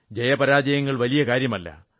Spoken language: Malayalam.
ജയപരാജയങ്ങൾ വലിയ കാര്യമല്ല